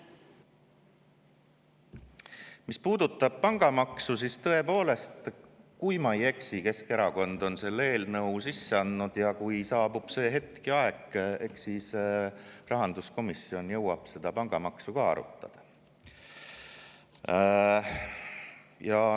Mis puudutab pangamaksu, siis tõepoolest, kui ma ei eksi, Keskerakond on selle eelnõu sisse andnud, ja kui saabub see hetk ja aeg, eks siis rahanduskomisjon jõuab seda pangamaksu ka arutada.